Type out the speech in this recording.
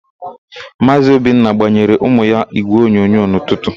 Maazị Obinna gbayeere ụmụ ya ígwèonyonyo n'ụtụtụ.